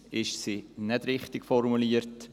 Meistens ist sie nicht richtig formuliert.